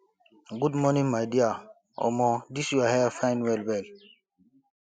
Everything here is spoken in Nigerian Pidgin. good afternoon my dear omo dis your hair fine wellwell